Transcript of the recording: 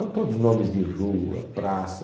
São todos nomes de rua, praça.